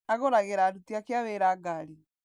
Agũragĩra aruti ake a wĩra ngari.